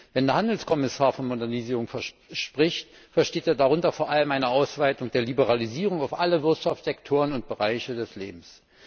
Wenn der Handelskommissar von Modernisierung spricht, versteht er darunter vor allem eine Ausweitung der Liberalisierung auf alle Wirtschaftssektoren und Bereiche des Lebens.